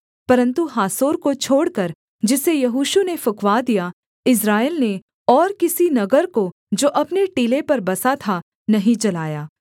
परन्तु हासोर को छोड़कर जिसे यहोशू ने फुँकवा दिया इस्राएल ने और किसी नगर को जो अपने टीले पर बसा था नहीं जलाया